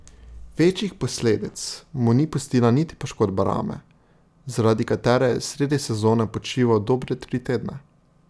Večjih posledic mu ni pustila niti poškodba rame, zaradi katere je sredi sezone počival dobre tri tedne.